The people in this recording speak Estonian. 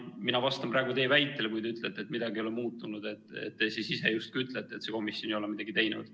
Mina vastan praegu teie väitele, kui te ütlete, et midagi ei ole muutunud, et te ise justkui ütlete, et see komisjon ei ole midagi teinud.